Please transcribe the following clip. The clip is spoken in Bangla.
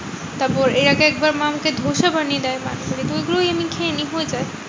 তারপর এর আগে একবার মা আমাকে ধোসা বানিয়ে দেয় মাঝে মাঝে তো ওগুলোই আমি খেয়ে নি হয়ে যায়।